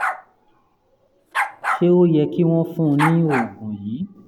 ṣé ó yẹ kí wọ́n fún un ní oògùn yìí?